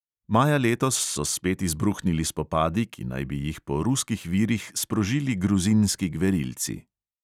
Maja letos so spet izbruhnili spopadi, ki naj bi jih po ruskih virih sprožili gruzinski gverilci.